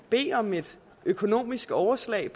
bede om et økonomisk overslag